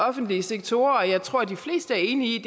offentlige sektorer og jeg tror at de fleste er enige i